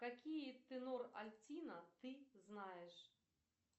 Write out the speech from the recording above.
какие тенор альтино ты знаешь